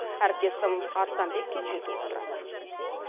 әріптесім арыстанбек кенжетұлы толықтырады